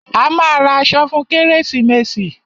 A máa ra aṣọ fún kérésìmesì.